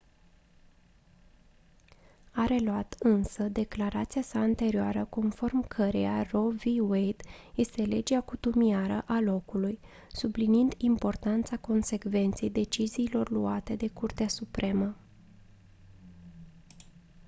a reluat însă declarația sa anterioară conform căreia roe v. wade este «legea cutumiară a locului» subliniind importanța consecvenței deciziilor luate de curtea supremă.